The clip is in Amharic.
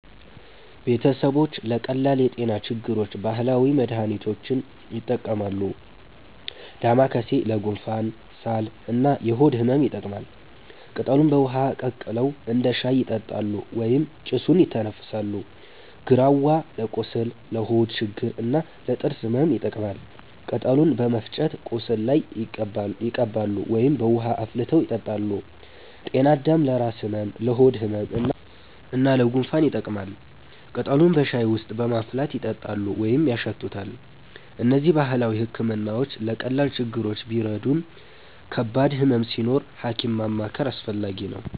ቤተሰቦች ለቀላል የጤና ችግሮች ባህላዊ መድሃኒቶችን ይጠቀማሉ። ዳማከሴ ለጉንፋን፣ ሳል እና የሆድ ህመም ይጠቅማል። ቅጠሉን በውሃ ቀቅለው እንደ ሻይ ይጠጣሉ ወይም ጭሱን ይተነፍሳሉ። ግራዋ ለቁስል፣ ለሆድ ችግር እና ለጥርስ ህመም ይጠቀማል። ቅጠሉን በመፍጨት ቁስል ላይ ይቀባሉ ወይም በውሃ አፍልተው ይጠጣሉ። ጤናአዳም ለራስ ህመም፣ ለሆድ ህመም እና ለጉንፋን ይጠቅማል። ቅጠሉን በሻይ ውስጥ በማፍላት ይጠጣሉ ወይም ያሸቱታል። እነዚህ ባህላዊ ሕክምናዎች ለቀላል ችግሮች ቢረዱም ከባድ ህመም ሲኖር ሐኪም ማማከር አስፈላጊ ነው።